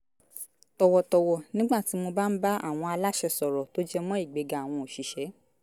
tọ̀wọ̀tọ̀wọ̀ nígbà tí mo bá ń bá àwọn aláṣẹ sọ̀rọ̀ tó jẹmọ́ ìgbéga àwọn òṣìṣẹ́